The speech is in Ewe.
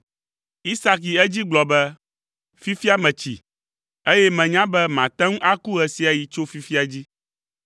Isak yi edzi gblɔ be, “Fifia metsi, eye menya be mate ŋu aku ɣe sia ɣi tso fifia dzi.